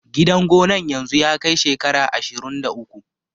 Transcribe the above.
Gidan gonan yanzu ya kai shekara ashirun da uku